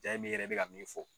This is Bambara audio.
ne yɛrɛ bi ka min fɔ